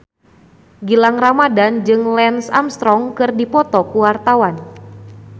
Gilang Ramadan jeung Lance Armstrong keur dipoto ku wartawan